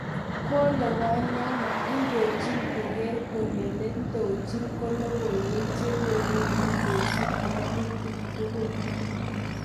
Kole wanyama indojin koger kole netonjin logoiwek che kigonu kosip ngatutik tuguk.